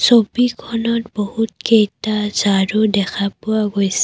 ছবিখনত বহুতকেইটা ঝাৰু দেখা পোৱা গৈছে।